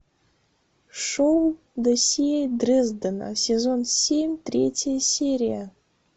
шоу досье дрездена сезон семь третья серия